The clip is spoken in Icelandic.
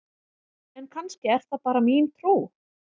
En kannski er það bara mín trú!?